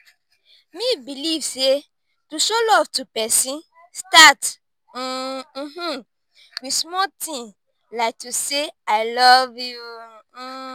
me believe say to show love to pesin start um with small ting like to say 'i love you'. um